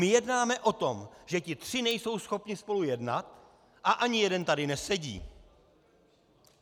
My jednáme o tom, že ti tři nejsou schopni spolu jednat, a ani jeden tady nesedí.